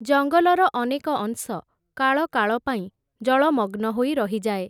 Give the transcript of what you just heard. ଜଙ୍ଗଲର ଅନେକ ଅଂଶ, କାଳକାଳ ପାଇଁ ଜଳମଗ୍ନ ହୋଇ ରହିଯାଏ ।